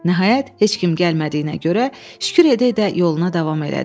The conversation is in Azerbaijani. Nəhayət, heç kim gəlmədiyinə görə şükür edə-edə yoluna davam elədi.